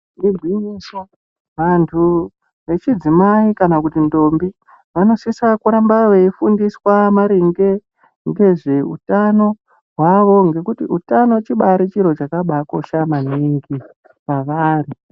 Igwinyiso vantu vechidzimai kana kuti ntombi vanosisa kuramba veifundiswa maringe ngezveutano hwavo ngekuti utano chibari chiro chakabakosha maningi kwavari.